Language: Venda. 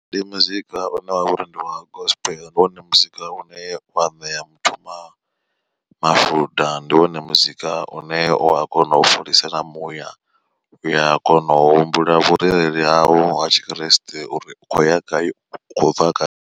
Ndi muzika une wavha uri ndi wa gospel ndi wone muzika une wa ṋea muthu ma mafuda ndi wone muzika une u a kona u fholisa na muya uya kona u humbula vhurereli hau ha tshikreste uri u khou ya gai u khou bva gai.